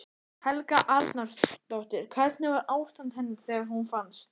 Helga Arnardóttir: Hvernig var ástand hennar þegar hún fannst?